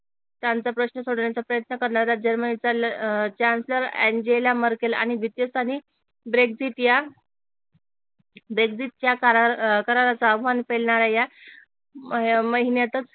प्रश्न सोडवण्याचा प्रयत्न करणाऱ्या जर्मनीच्या अह चॅन्सेलर अँजेला मर्केल आणि द्वितीय स्थानी ब्रेक्सिट या ब्रेक्सिट च्या अह कराराचा आवाहन पेलणाऱ्या या महिन्यातच